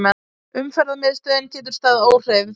Umferðarmiðstöðin getur staðið óhreyfð